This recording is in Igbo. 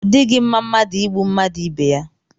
Ọ dịghị mma mmadụ ịgbụ mmadụ ibe yá